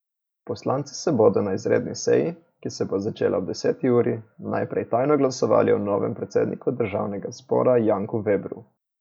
Poslanci bodo na izredni seji, ki se bo začela ob deseti uri, najprej tajno glasovali o novem predsedniku državnega zbora Janku Vebru.